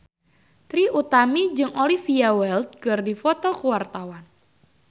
Trie Utami jeung Olivia Wilde keur dipoto ku wartawan